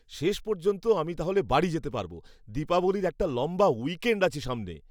শেষ পর্যন্ত আমি তাহলে বাড়ি যেতে পারবো। দীপাবলীর একটা লম্বা উইকেণ্ড আছে সামনে।